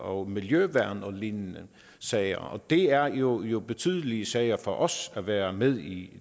og miljøværn og lignende sager og det er jo jo betydelige sager for os at være med i